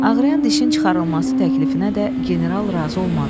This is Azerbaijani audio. Ağrıyan dişin çıxarılması təklifinə də general razı olmadı.